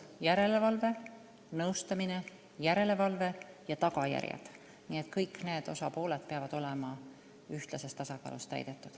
Järelevalve, nõustamine ja tagajärjed – need kõik peavad olema ühtlases tasakaalus täidetud.